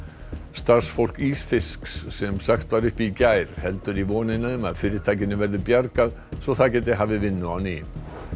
starfsfólk ísfisks sem var sagt upp í gær heldur í vonina um að fyrirtækinu verði bjargað svo það geti hafið vinnu á ný